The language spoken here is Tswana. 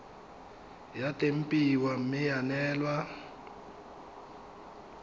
ya tempiwa mme ya neelwa